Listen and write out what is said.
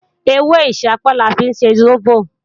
Ewé ìṣápá la fi ń ṣe sóbò